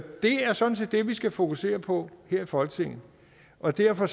det er sådan set det vi skal fokusere på her i folketinget og derfor